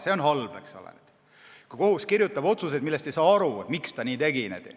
See on halb, eks ole, kui kohus kirjutab otsuseid, millest ei saada aru, miks ta nii tegi.